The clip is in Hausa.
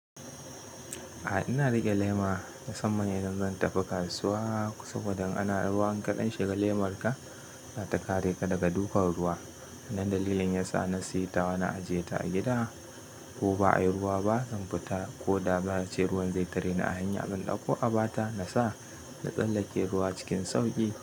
Ah ina riƙe lema musamman idan zan tafi kasuwa saboda in a na ruwa in kaɗa shiga lemarka za ta kare ka daga dukan ruwa. Wannan dalilin yasa na saye ta na ajiye ta a gida ko ba a yi ruwa ba zan fita ko da ba za a ce ruwan zai tare ni a hanya, zan dauko a ba ta na sa na tsallake ruwa cikin sauƙi.